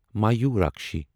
مایورکشی